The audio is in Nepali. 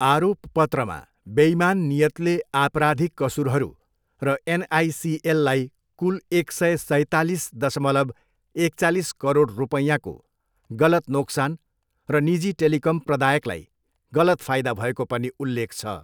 आरोपपत्रमा बेइमान नियतले आपराधिक कसुरहरू र एनआइसिएललाई कुल एक सय सैतालिस दशमलव एकचालिस करोड रुपैयाँको गलत नोक्सान र निजी टेलिकम प्रदायकलाई गलत फाइदा भएको पनि उल्लेख छ।